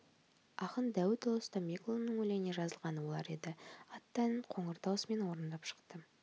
ақын дәуітәлі стамбекұлының өлеңіне жазылған олар еді атты әнін қоңыр даусымен орындап шықты